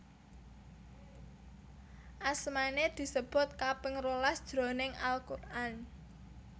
Asmané disebut kaping rolas jroning Al Quran